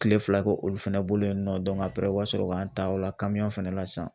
Kile fila k'o olu fɛnɛ bolo yen nɔ u ka sɔrɔ k'an ta o la fɛnɛ na sisan